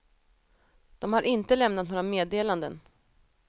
De har inte lämnat några meddelanden.